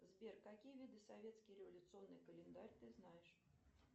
сбер какие виды советский революционный календарь ты знаешь